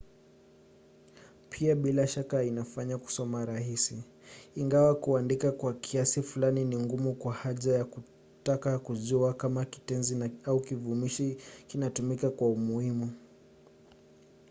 pia bila shaka inafanya kusoma rahisi ingawa kuandika kwa kiasi fulani ni ngumu kwa haja ya kutaka kujua kama kitenzi au kivumishi kinatumika kwa umuhimu